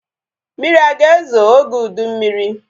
Mmiri aga ezo oge ụdị mmiri?